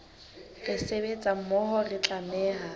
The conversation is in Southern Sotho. re sebetsa mmoho re tlameha